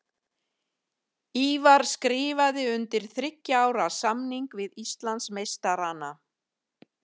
Ívar skrifaði undir þriggja ára samning við Íslandsmeistarana.